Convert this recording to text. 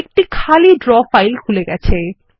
একটি খালি draw file খুলে গেছে